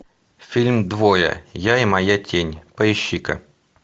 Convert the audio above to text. фильм двое я и моя тень поищи ка